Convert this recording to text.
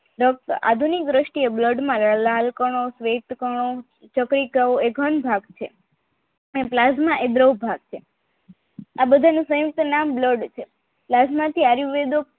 આધુનિક દ્રષ્ટિએ blood માં લાલ કણો સ્વેત કણો ચક્રીકણો એ ઘન ભાગ છે ને Plasma એ દ્રવ ભાગ છે આ બધા નું સંયુક્ત નામ blood છે